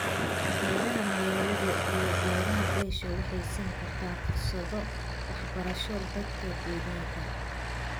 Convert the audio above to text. Beeraha magaalada iyo beeraha beesha waxay siin karaan fursado waxbarasho dadka deegaanka.